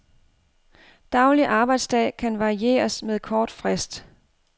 Daglig arbejdsdag kan varieres med kort frist.